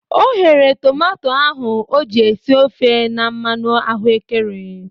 O ghere tomato ahu o ji esi ofe na mmanụ ahụekere.